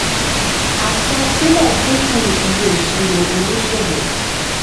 àsan-sílẹ̀ dínkù iye ìsirò òníṣòwò.